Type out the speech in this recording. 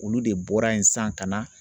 Olu de bɔra yen sisan ka na